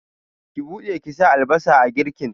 Ki buɗe ki sa albasa a girkin!